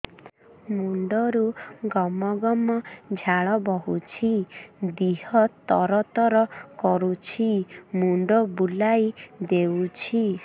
ମୁଣ୍ଡରୁ ଗମ ଗମ ଝାଳ ବହୁଛି ଦିହ ତର ତର କରୁଛି ମୁଣ୍ଡ ବୁଲାଇ ଦେଉଛି